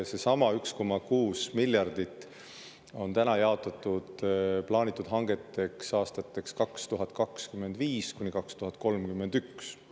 Seesama 1,6 miljardit on täna jaotatud plaanitud hangeteks aastatel 2025–2031.